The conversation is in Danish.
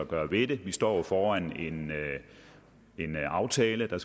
gøre ved det vi står jo foran en aftale der